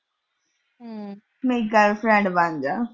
ਮੇਰੀ girl friend ਬਣ ਜਾ।